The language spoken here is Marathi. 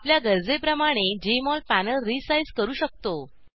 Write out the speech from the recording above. आपल्या गरजेप्रमाणे जेएमओल पॅनल रीसाईज करू शकतो